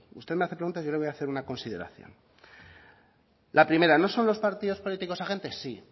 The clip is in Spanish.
usted me hace preguntas y yo le voy a hacer una consideración la primera no son los partidos políticos agentes sí